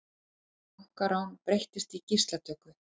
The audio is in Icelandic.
Bankarán breyttist í gíslatöku